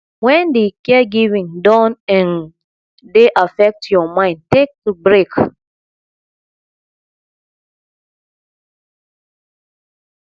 when di caregiving don um dey affect your mind take break